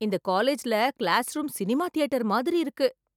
இந்த காலேஜ்ல class room cinema theatre மாதிரி இருக்கு